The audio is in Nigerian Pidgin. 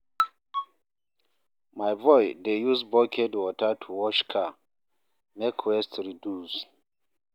My boy dey use bucket water to wash car, make waste reduce.